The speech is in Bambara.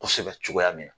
Kosɛbɛ cogoya min na